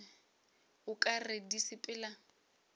o ka re di sepela